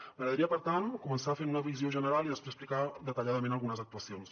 m’agradaria per tant començar fent una visió general i després explicar detalladament algunes actuacions